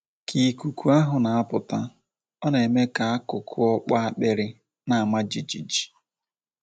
Ka ikuku ahụ na - apụta, ọ na - eme ka akụkụ okpo akpịrị na - ama jijiji.